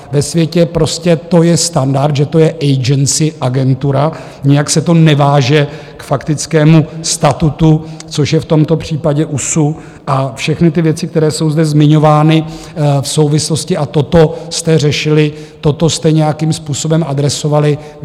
Ve světě prostě to je standard, že to je agency - agentura, nijak se to neváže k faktickému statutu, což je v tomto případě USU (?), a všechny ty věci, které jsou zde zmiňovány v souvislosti, a toto jste řešili, toto jste nějakým způsobem adresovali.